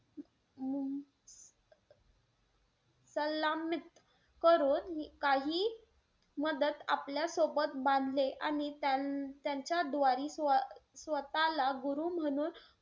अं सल्लामित करून काही मदत आपल्या सोबत बांधले. आणि त्यांच्या द्वारी स्वतःला गुरु म्हणून,